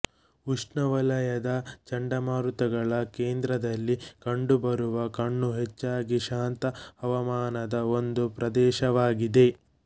ಉಷ್ಣವಲಯದ ಚಂಡಮಾರುತಗಳ ಕೇಂದ್ರದಲ್ಲಿ ಕಂಡುಬರುವ ಕಣ್ಣು ಹೆಚ್ಚಾಗಿ ಶಾಂತ ಹವಾಮಾನದ ಒಂದು ಪ್ರದೇಶವಾಗಿದೆ